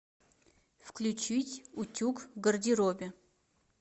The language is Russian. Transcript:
включить утюг в гардеробе